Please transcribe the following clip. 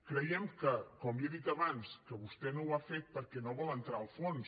creiem com li he dit abans que vostè no ho ha fet perquè no vol entrar al fons